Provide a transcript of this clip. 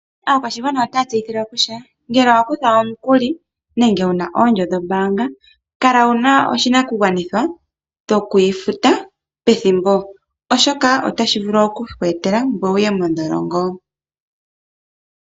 Aakwashigwana otaya tseyithilwa kutya ngele owa kutha omukuli nenge wu na oondjo dhombaanga, kala wu na oshinakugwanithwa shoku yi futa pethimbo oshoka otashi vulu oku ku etela ngoye wu ye mondholongo.